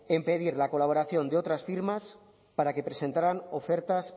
en pedir la colaboración de otras firmas para que presentaran ofertas